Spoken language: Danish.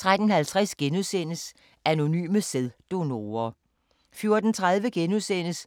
13:50: Anonyme sæddonorer *